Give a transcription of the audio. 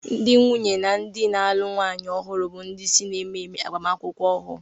Ndị nwunye na ndị na-alụ nwanyị ọhụrụ bụ ndị isi n'ememe agbamakwụkwọ ahụ.